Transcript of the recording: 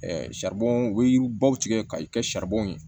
u bɛ yiribaw tigɛ ka i kɛ ye